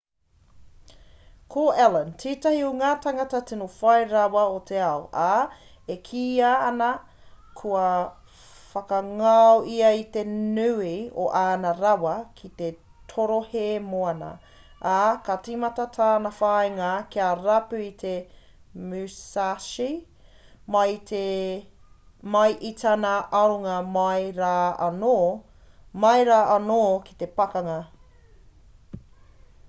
ko allen tētahi o ngā tangata tino whai rawa o te ao ā e kīia ana kua whakangao ia i te nui o āna rawa ki te torohē moana ā ka tīmata tana whāinga kia rapu i te musashi mai i tana aronga mai rā anō ki te pakanga